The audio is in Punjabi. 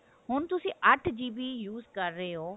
ਹੁਣ ਤੁਸੀਂ ਅੱਠ GB use ਕਰ ਰਹੇ ਹੋ